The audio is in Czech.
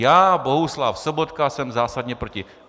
Já, Bohuslav Sobotka, jsem zásadně proti!